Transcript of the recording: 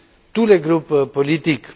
tous les groupes politiques.